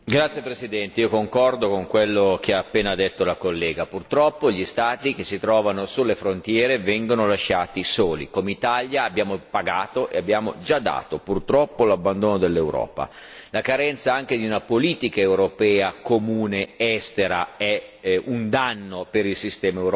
Signor Presidente, onorevoli colleghi, io concordo con quello che ha appena detto la collega purtroppo gli Stati che si trovano sulle frontiere vengono lasciati soli! Come Italia, abbiamo pagato e abbiamo già dato. Purtroppo l'abbandono dell'Europa, la carenza anche di una politica europea comune estera, è un danno per il sistema Europa.